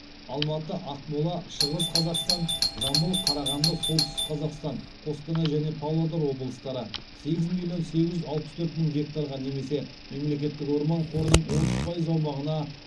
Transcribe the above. сегіз миллион сегіз жүз алпыс төрт мың гектарға немесе мемлекеттік орман қорының отыз пайыз аумағына